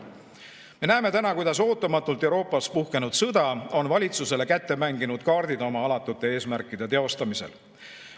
Me näeme täna, kuidas ootamatult Euroopas puhkenud sõda on valitsusele kätte mänginud kaardid oma alatute eesmärkide teostamiseks.